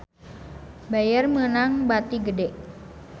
Bayer meunang bati gede